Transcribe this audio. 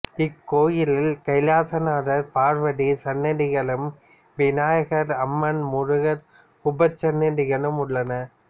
இக்கோயிலில் கைலாசநாதர் பார்வதி சன்னதிகளும் விநாயகர் அம்மன் முருகர் உபசன்னதிகளும் உள்ளன